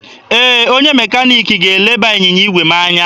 Ee, onye mekaniki ga-eleba ịnyịnya igwe m anya.